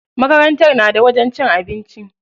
Makarantar na da wajen cin abinci.